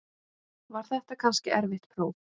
Var þetta kannski erfitt próf?